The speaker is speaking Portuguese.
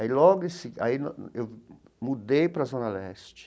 Aí logo em se aí eu mudei para a Zona Leste.